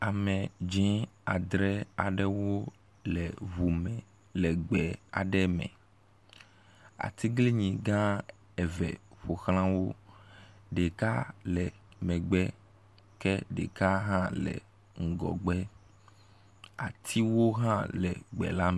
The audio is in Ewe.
Ame dzi adre aɖewo le ŋu me le gbe aɖe me. atiglinyi gã eve ƒoxla wo. Ɖeka le megbe ke ɖeka hã le ŋgɔgbe. Atiwo hã le gbe la me.